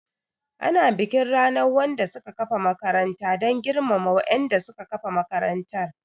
Ana bikin ranar wanda suka kafa makaranta dan girmama wa'inda suka kafa makarantar